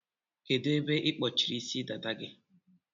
Kedu ebe ikpọchiri Ịsị dada gị?